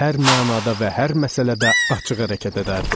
Hər mənada və hər məsələdə açıq hərəkət edərdi.